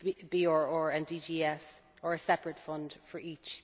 both BRR and DGS or a separate fund for each.